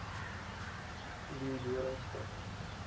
leeudoringstad